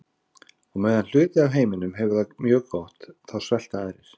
Á meðan hluti af heiminum hefur það mjög gott þá svelta aðrir.